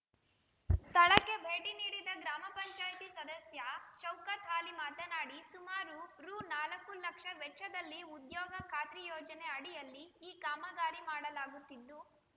ಸ್ಥಳಕ್ಕೆ ಭೇಟಿ ನೀಡಿದ್ದ ಗ್ರಾಮ ಪಂಚಾಯತಿ ಸದಸ್ಯ ಶೌಕತ್‌ಆಲಿ ಮಾತನಾಡಿ ಸುಮಾರು ರು ನಾಲ್ಕು ಲಕ್ಷ ವೆಚ್ಚದಲ್ಲಿ ಉದ್ಯೋಗ ಖಾತ್ರಿ ಯೋಜನೆ ಅಡಿಯಲ್ಲಿ ಈ ಕಾಮಗಾರಿ ಮಾಡಲಾಗುತ್ತಿದ್ದು